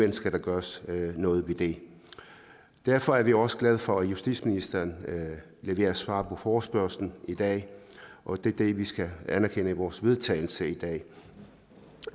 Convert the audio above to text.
det skal der gøres noget ved derfor er vi også glade for at justitsministeren leverer svar på forespørgslen i dag og det er det vi skal anerkende i vores vedtagelse i dag